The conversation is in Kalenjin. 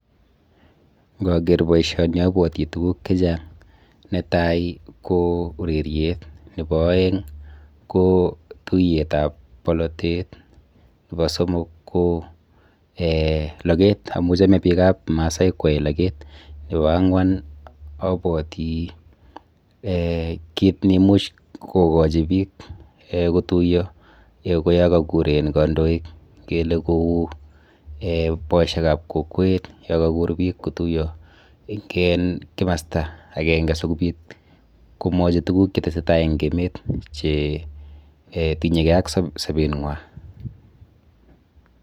Ngoker boisioni abwoti tuguk chechang'. Netai ko ureriet, nebo aeng' ko tuiyetap polotet nebo somok ko logeet, amu chomei biikap maasai kwoei logeet. Nebo ang'wan abwoti kit neimuch kokochi biik kotuiyo, kou yo kokuur kandoik ngele ku boisiekab kokwet yo kokuur biik kotuiyo eng kimasta akenge sikubiit komwochi tuguk che teseitai eng emeet che tinyegei ak sobetng'wa.